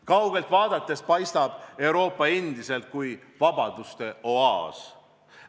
Kaugelt vaadates paistab Euroopa endiselt kui vabaduste oaas.